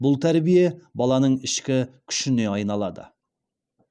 бұл тәрбие баланың ішкі күшіне айналады